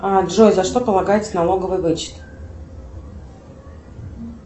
джой за что полагается налоговый вычет